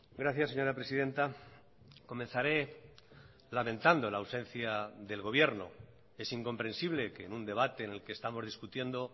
gracias señora presidenta comenzaré lamentando la ausencia del gobierno es incomprensible que en un debate en el que estamos discutiendo